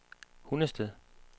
Hundested